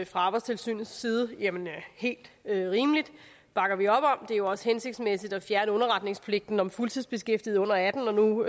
fra arbejdstilsynets side det er helt rimeligt det bakker vi op om det er jo også hensigtsmæssigt at fjerne underretningspligten om fuldtidsbeskæftigede under atten år når nu